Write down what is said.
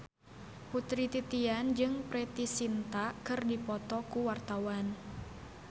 Putri Titian jeung Preity Zinta keur dipoto ku wartawan